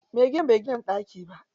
Me gidan bai gina banɗaki ba.